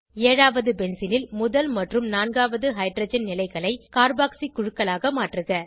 ஏழாவது பென்சீனில் முதல் மற்றும் நான்காவது ஹைட்ரஜன் நிலைகளை கார்பாக்ஸி குழுக்களாக மாற்றுக